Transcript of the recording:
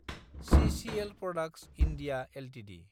सिसिएल products (India) Ltd